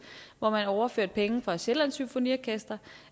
hvor man overførte penge fra sjællands symfoniorkester